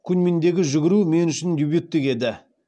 куньминдегі жүгіру мен үшін дебюттік еді